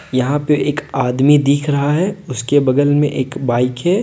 यहां पे एक आदमी दिख रहा है उसके बगल में एक बाइक है।